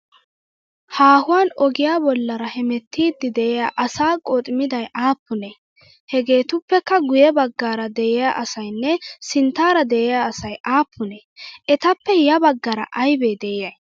Haahuwan ogiya bollaara hemettiiddi de'iya asaa qooxmday affunee? Hageetuppekka guyye baggaara de'iya asayinne sinttaara de'iyaa asay aappunee? Etappe ya baggaara aybee de'iyaay?